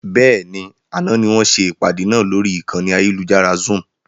Bẹ́ẹ̀ni, àná ni wọn ṣe ìpàdé náà lórí ìkànnì ayélujára Zoom.